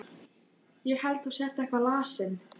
Ég held þú sért eitthvað lasinn.